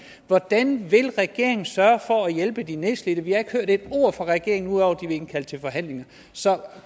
hvordan vil regeringen sørge for at hjælpe de nedslidte vi har ikke hørt et ord fra regeringen ud over at indkalde til forhandlinger så